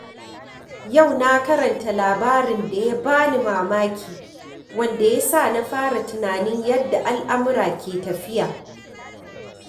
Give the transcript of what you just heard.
Yau na karanta labarin da ya ba ni mamaki, wanda ya sa na fara tunanin yadda al’amura ke tafiya.